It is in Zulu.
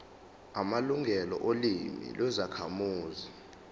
amalungelo olimi lwezakhamuzi